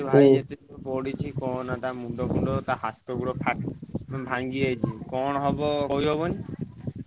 ପଡିଛି କହନା ତା ମୁଣ୍ଡ ଫୁଣ୍ଡ ତା ହାତ ଗୋଡ ଫାଟ୍~ ଭାଂଗୀ ଯାଇଛି କଣ ହେବ କହି ହବନି।